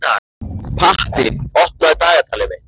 Patti, opnaðu dagatalið mitt.